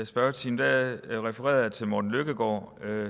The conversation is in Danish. spørgetime refererede jeg til morten løkkegaard